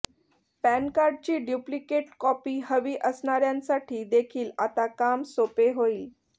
पॅनकार्डची duplicate copy हवी असणाऱ्यासांठी देखील आता काम सोपे होईल